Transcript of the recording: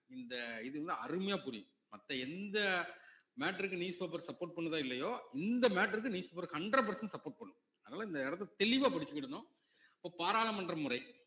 இந்த இது வந்து அருமையா புரியும் மத்த எந்த matter க்கு newspaper support பண்ணுதோ இல்லையோ இந்த matter க்கு newspaper hundred percent support பண்ணும் அதனால இந்த இடத்தை தெளிவா படிச்சுக்கிடணும் இப்ப பாராளுமன்ற முறை